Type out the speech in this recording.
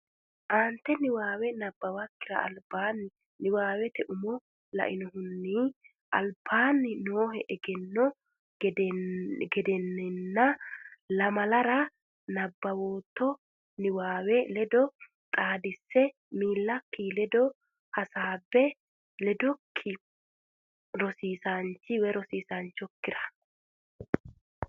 Aaante niwaawe nabbawakkira albaanni niwaawete umo lainohunni albaanni noohe egenno gadenna nna lamalara nabbawitto niwaawe ledo xaadisse miillakki ledo hasaabbe hedokki rosiisaanchi okkira.